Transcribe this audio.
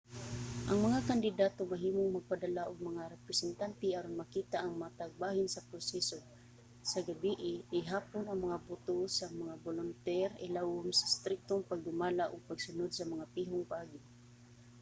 ang mga kandidato mahimong magpadala og mga representante aron makita ang matag bahin sa proseso. sa gabii ihapon ang mga boto sa mga bolunter ilawom sa striktong pagdumala ug pagsunod sa mga pihong paagi